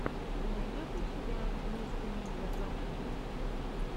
ты найдешь у себя мистэ медиа продакшен